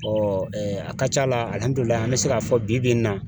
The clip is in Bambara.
Ɔ a ka c'a la an bɛ se k'a fɔ bi-bi in na